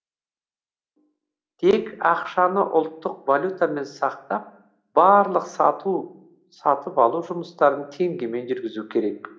тек ақшаны ұлттық валютамен сақтап барлық сату сатып алу жұмыстарын теңгемен жүргізу керек